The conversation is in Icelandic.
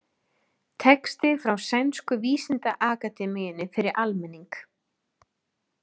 Texti frá Sænsku vísindaakademíunni fyrir almenning.